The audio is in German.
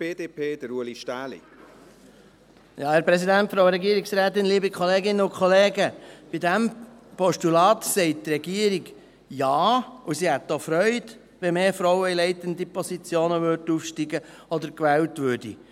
Bei diesem Postulat sagt die Regierung Ja, und sie hätte auch Freude daran, wenn mehr Frauen in leitende Positionen aufsteigen würden oder gewählt würden.